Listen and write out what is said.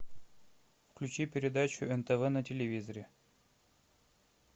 включи передачу нтв на телевизоре